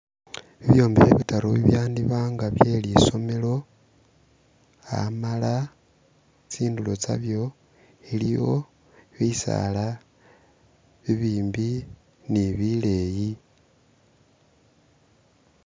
Ibyombekhe bitaru ibyandiba nga bye lisomelo , amala tsindulo tsalyo iliyo bisaala bibimbi ne bileyi